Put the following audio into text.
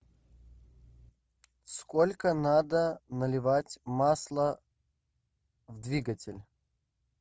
сколько надо наливать масла в двигатель